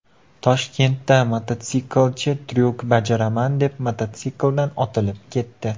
Toshkentda mototsiklchi tryuk bajaraman deb, mototsikldan otilib ketdi .